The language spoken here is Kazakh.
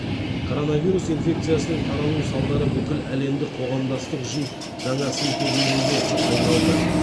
коронавирус инфекциясының таралу салдары бүкіл әлемдік қоғамдастық үшін жаңа сын тегеуірінге айналды